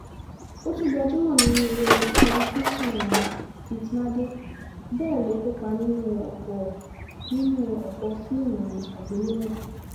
ó tún gbajúmọ̀ nínú eré tẹlifíṣàn fit madé bẹ́ẹ̀ ló kópa nínú ọ̀pọ̀ nínú ọ̀pọ̀ fíìmù àgbéléwò